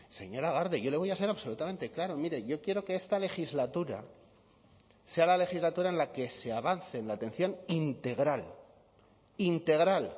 señora garde yo le voy a ser absolutamente claro mire yo quiero que esta legislatura sea la legislatura en la que se avance en la atención integral integral